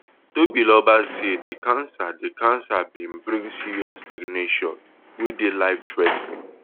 tobiloba say di cancer di cancer bin bring serious stagnation wey dey life threa ten ing